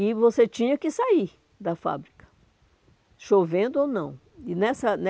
E você tinha que sair da fábrica, chovendo ou não. E nessa